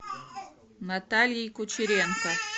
натальей кучеренко